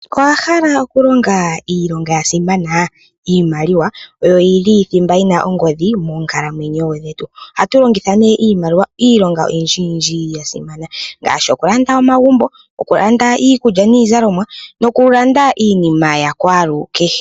Owa hala oku longa iilonga ya simana. Iimaliwa oyo yili thimba yina ongodhi moonkalamwenyo dhetu ohatu longitha nee iimaliwa iilonga oyindji yindji ya simana ngaashi oku landa omagumbo ,oku landa iikulya niizalomwa noku landa iinima ya kwalukehe.